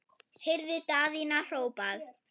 heyrði Daðína hrópað.